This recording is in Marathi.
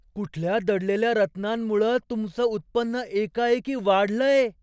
कुठल्या दडलेल्या रत्नांमुळं तुमचं उत्पन्न एकाएकी वाढलंय?